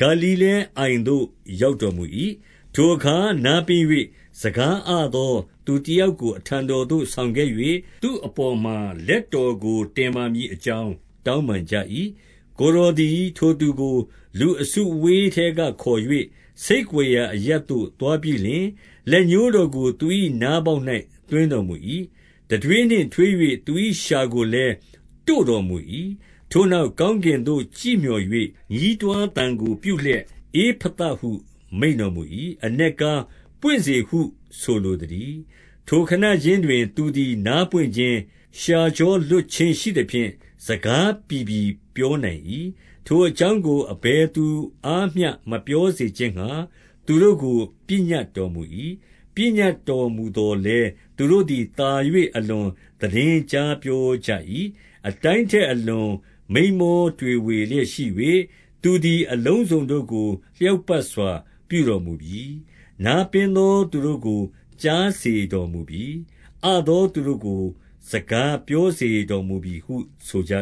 ဂါလိလဲအိုင်သို့ ရောက်တော်မူ၏။ 32 ထိုအခါ နားပင်း၍ စကားအသောသူတယောက်ကို အထံတော်သို့ဆောင်ခဲ့၍၊ သူ့အပေါ်မှာ လက်တော်ကို တင်ပါမည်အကြောင်း တောင်းပန်ကြ၏။ 33 ကိုယ်တော်သည် ထိုသူကို လူအစုအဝေးထဲကခေါ်၍၊ ဆိတ်ကွယ်ရာအရပ်သို့ သွားပြီးလျှင်၊ လက်ညှိုး တော်ကို သူ၏နားပေါက်၌ သွင်းတော်မူ၏။ တံထွေးနှင့် ထွေး၍ သူ၏လျှာကိုလည်း တို့တော်မူ၏။ 34 ထိုနောက် ကောင်းကင်သို့ ကြည့်မျှော်၍ ညီးတွားသံကိုပြုလျက်၊ ဧဖသဟု မိန့်တော်မူ၏။ အနက် ကား၊ ပွင့်စေဟု ဆိုလိုသတည်း။ 35 ထိုခဏခြင်းတွင် သူသည် နားပွင့်ခြင်း၊ လျှာကြောလွတ်ခြင်းရှိသဖြင့် စကားပြီပြီပြောနိုင်၏။ 36 ထိုအကြောင်းကို အဘယ်သူအားမျှမပြောစေခြင်းငှါ သူတို့ကို ပညတ်တော်မူ၏။ ပညတ်တော်မူသော် လည်း သူတို့သည် သာ၍ အလွန်သိတင်းကြားပြောကြ၏။ 37 အတိုင်းထက် အလွန်မိန်းမောတွေဝေလျက်ရှိ၍၊ သူသည် အလုံးစုံတို့ကို လျောက်ပတ်စွာ ပြုတော်မူပြီ။ နားပင်းသောသူတို့ကို စကားပြောစေတော်မူပြီဟု ဆိုကြ